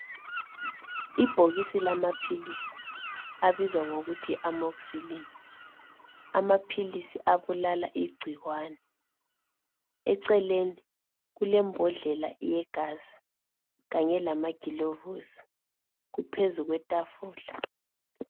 Ibhokisi lama philisi abizwa ngokuthi yi Amoxylin , lawa maphilisi ayabulala amagcikwane, eceleni kule mbodlela yegazi kanye lama gulovisi phezu kwetafula.